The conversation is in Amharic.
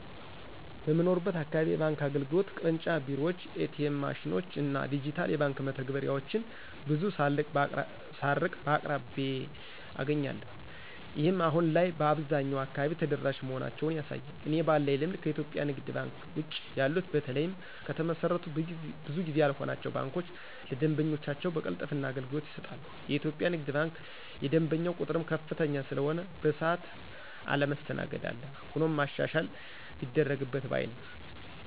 በምኖርበት አካባቢ የባንክ አገልግሎት (ቅርንጫፍ ቢሮዎችን፣ ኤ.ቲ.ኤም ማሽኖችን እና ዲጂታል የባንክ መተግበሪያዎችን ) ብዙ ሳልርቅ በአቅራቢያየ አገኛለሁ። ይህም አሁን ላይ በአብዛኛው አካባቢ ተደራሽ መሆናቸውን ያሳያል። እኔ ባለኝ ልምድ ከኢትዮጵያ ንግድ ባንክ ውጭ ያሉት በተለይም ከተመሰረቱ ብዙ ጊዜ ያልሆናቸው ባንኮች ለደንበኞቻቸው በቅልጥፍና አገልግሎት ይሰጣሉ። የኢትዮጵያ ንግድ ባንክ የደንበኛው ቁጥርም ከፍተኛ ስለሆነ በሰዓት አለመስተናገድ አለ። ሆኖም ማሻሻያ ቢደረግ ባይ ነኝ።